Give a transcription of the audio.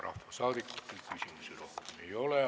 Rahvasaadikutel rohkem küsimusi ei ole.